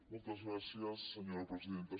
moltes gràcies senyora presidenta